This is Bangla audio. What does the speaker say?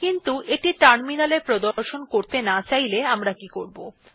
কিন্তু এটি টার্মিনালে প্রদর্শন করতে না চাইলে আমরা কি করবো160